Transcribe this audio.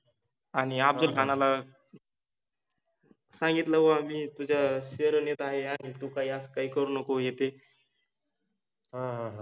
आणी अफजलखानाला सांगितलव आम्हि तुझ्या शैर नेत आहे आणि तु काइ अस काइ करु नको हे ते , ह ह